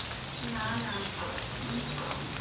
না না শুনছি